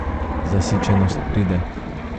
Zasičenost pride.